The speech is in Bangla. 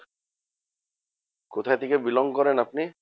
কোথা থেকে belong করেন আপনি?